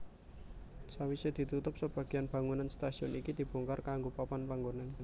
Sawise ditutup sebagian bangunan stasiun iki dibongkar kanggo papan panggonan